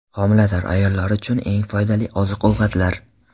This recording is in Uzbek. Homilador ayollar uchun eng foydali oziq-ovqatlar.